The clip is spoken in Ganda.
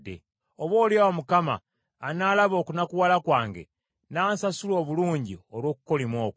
Oboolyawo Mukama anaalaba okunakuwala kwange n’ansasula obulungi olw’okukolima okwo.”